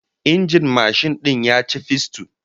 Injin mashin din ya ci fisto